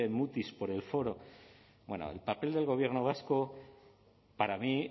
mutis por el foro bueno el papel del gobierno vasco para mí